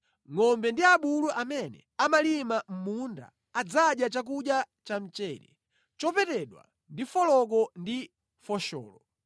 Ngʼombe ndi abulu amene amalima mʼmunda adzadya chakudya chamchere, chopetedwa ndi foloko ndi fosholo.